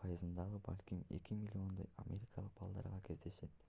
пайызында балким 2 миллиондой америкалык балдарда кездешет